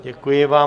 Děkuji vám.